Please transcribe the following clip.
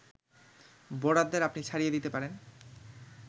বোর্ডারদের আপনি ছাড়িয়ে দিতে পারেন